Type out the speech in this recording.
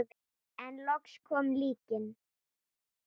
En loks kom líknin.